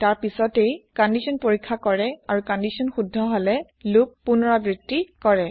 তাৰ পিছতহে ই কন্দিচ্যন পৰীক্ষা কৰে আৰু কন্দিচ্যন শুদ্ধ হলে হলে লোপ পুনৰাবৃত্তি কৰে